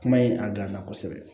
Kuma ye a dilanna kosɛbɛ